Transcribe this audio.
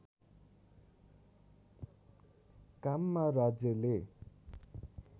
काममा राज्यले